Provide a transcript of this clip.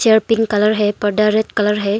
Pink colour है पर्दा red colour है।